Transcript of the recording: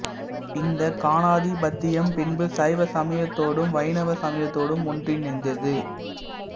இந்தக் காணாதிபத்தியம் பின்பு சைவ சமயத்தோடும் வைணவ சமயத்தோடும் ஒன்றிணைந்தது